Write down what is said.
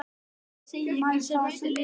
Því segi ég ykkur sem eftir lifið.